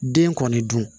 Den kɔni dun